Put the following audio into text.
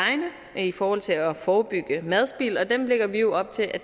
i forhold til at forebygge madspild dem lægger vi op til at